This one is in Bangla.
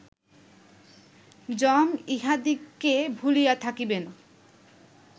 যম ইঁহাদিগকে ভুলিয়া থাকিবেন